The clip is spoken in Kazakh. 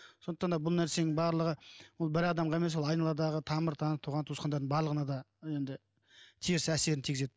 сонықтан да бұл нәрсенің барлығы ол бір адамға емес ол айналадағы тамыр таныс туған туысқандардың барлығына да енді теріс әсерін тигізеді